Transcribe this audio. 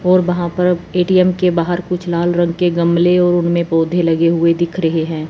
और वहाँ पर ए_टी_एम के बाहर कुछ लाल रंग के गमले और उनमें पौधे लगे हुए दिख रहे हैं।